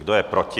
Kdo je proti?